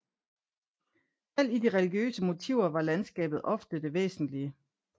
Selv i de religiøse motiver var landskabet ofte det væsentlige